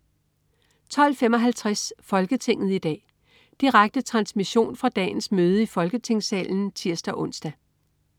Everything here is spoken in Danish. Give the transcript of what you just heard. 12.55 Folketinget i dag. Direkte transmission fra dagens møde i Folketingssalen (tirs-ons)